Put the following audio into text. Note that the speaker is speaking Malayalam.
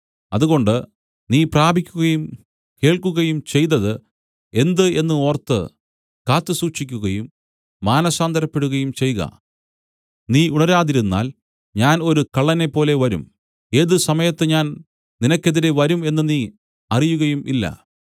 അതുകൊണ്ട് നീ പ്രാപിക്കുകയും കേൾക്കുകയും ചെയ്തതു എന്ത് എന്നു ഓർത്ത് കാത്തു സൂക്ഷിക്കുകയും മാനസാന്തരപ്പെടുകയും ചെയ്ക നീ ഉണരാതിരുന്നാൽ ഞാൻ ഒരു കള്ളനെപ്പോലെ വരും ഏത് സമയത്ത് ഞാൻ നിനക്കെതിരെ വരും എന്നു നീ അറിയുകയും ഇല്ല